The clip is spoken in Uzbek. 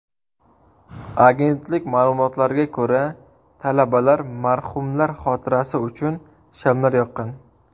Agentlik ma’lumotlariga ko‘ra, talabalar marhumlar xotirasi uchun shamlar yoqqan.